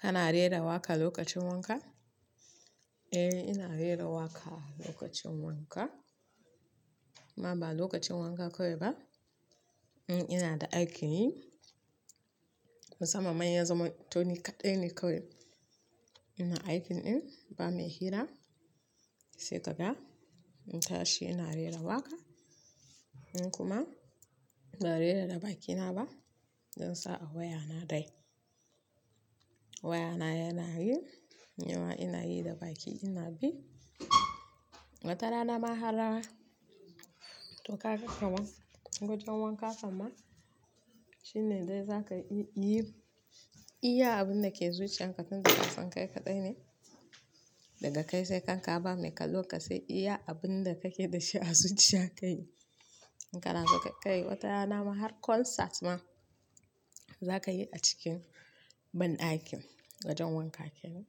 Kana rera waƙa lokacin wanka? Eh, ina rera waƙa lokacin wanka. Amma ba lokacin wanka kawai ba, ina da aikin yi. Musamman ma in ya zamo to nikaɗai ne kawai ina aikin ɗin, ba mai hira sai ka ga in tashi ina rera waƙa. Kuma ba rera da bakina ba don sa'a wayana dai. Wayana yana yi, nima ina yi da bakina bi. Watara na ma har na to ka ga kama wojen wanka kam ma shine dai za ka iya yi. Iya abun da ke zuciyan ka tunda kasan kai kaɗai ne daga kai sai kan ka ba mai kallon ka sai iya abun da kake da shi a zuciyan ka yi. In kana so za ka kai wata rana ma har konsat ma za ka yi a cikin banɗakin wajen wanka kenan.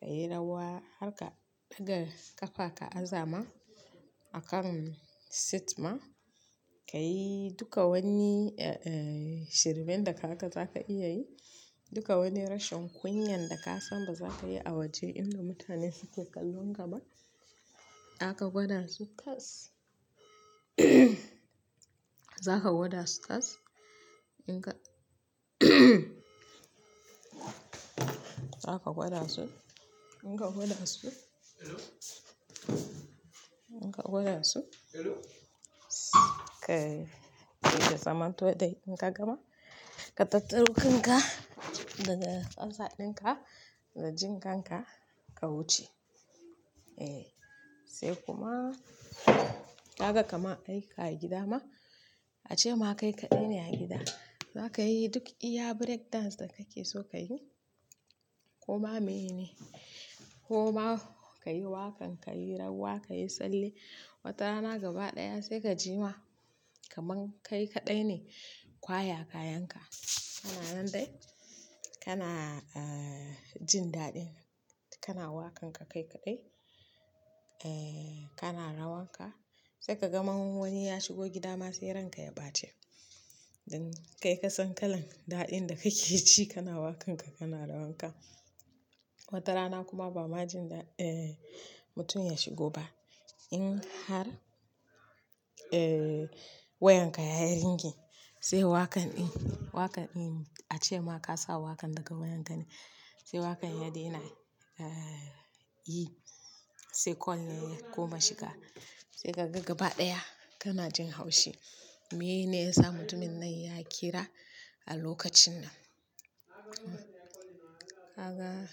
Ka yi rawa ha ka ɗaga ƙafaka a zama a kan seat ma, ka yi duka wani, eh, shirmen da ka ga za ka iya yi, duka wani rashin kunyan da ka san ba za ka yi a waje inda mutane suke kallon ka ba aka gwada su tas. Za ka gwada su tas in ka za ka gwada su in ka gwada su in ka gwada su ka yi da zamanto dai in ka gama ka tattaro kanka daga fasaɗin ka da jinƙan ka, ka wuce. Eh, sai kuma za ka kama a yi ka yi gida ma ace ma kai kaɗai ne a gida. Za ka yi duk iya birek dance da kake so ka yi ko ma mene. Ko ma ka yi waƙan ka yi rawa, ka yi sallie watara na gaba ɗaya sai ka ji ma kaman kai kaɗai ne kwaya kayan ka. Kana nan dai kana, eh, jin daɗin. Kana waƙan ka kai kaɗai, eh, kana rawan ka sai ka ga man wani ya shigo gida ma sai ranka ya ɓace. Don kai ka san kalan daɗin da kake ji kana waƙan ka kana rawan ka. Watara na kuma ba ma jin da, eh, mutum ya shigo ba. In har, eh, wayan ka ya yi ringi sai waƙan ɗin, waƙan ɗin ace ma ka sa waƙan daga wayan ka ne sai waƙan ya daina, eh, yi sai call ne ya koma shiga. Sai ka ga gaba ɗaya kana jin haushi. Menene ya sa mutumin nan ya kira a lokacin nan? Kaga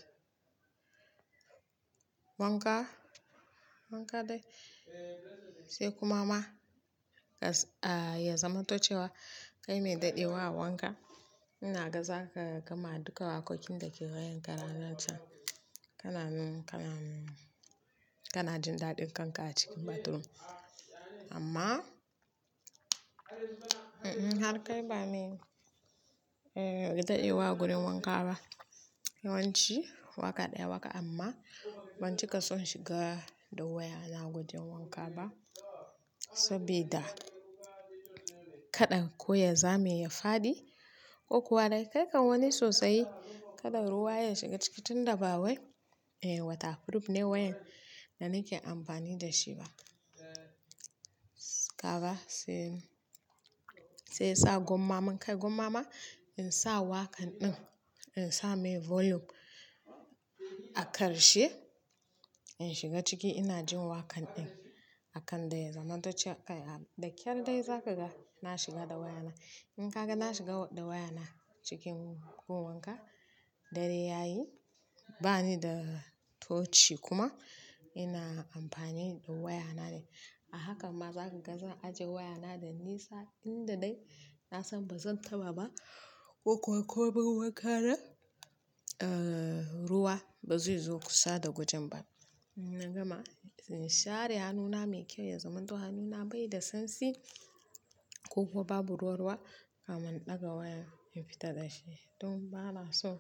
wanka, wanka dai sai kuma ma ka, ah, ya zamantacewa kai me daɗdewa a wanka. Ina ga za ka gama duka waƙoƙin da kake wayan ka ranan chan. Kana, kana, kana jin daɗin kanka a cikin batroom. Amma, in har kai ba me, eh, daɗewa a gurin wanka ba. Yawanci waka ɗaya waka amma ban ji ka son shiga da wayana gujin wanka ba saboda kaɗan ko ya za mai ya faɗi ko kuwa dai kai kan wani tsausayi kaɗa ruwa ya shiga ciki tunda ba wai. Eh, wata furuf ne wayan da nike amfani da shi ba. Kaga sai, sai sa gwamman kai gwamma ma in sa waƙan ɗin in sa mai volume a ƙarshe in shiga ciki ina jin waƙan ɗin akan dai zamantace kai a da kyar dai za ka ga na shiga da wayana. In ka ga na shiga da wayana cikin gun wanka dare ya yi bani da tochi kuma ina amfani da wayana ne. A haka ma za ka ga zan ajiye wayana da nisa inda dai na san ba zan taɓa ba ko kuwa ko don wankana, eh, ruwa ba zai zo kusa da gojen ba. Ina gama in share hannuna mai kyau ya zamanto hannuna bai da sansi ko kuwa babu ruwa ruwa kamin in ɗaga wayan in fita da shi. Don ba na son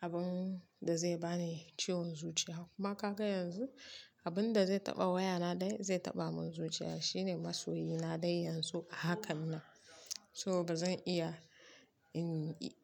abun da zai bani ciwon zuciya kuma ka ga yanzu abun da zai taɓa wayana dai zai taɓa mun zuciya shine masoyi na dai yanzu a hakan nan. So ba zan iya in, in.